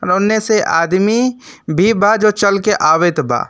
होने से आदमी भी बा जो चल के आवेत बा।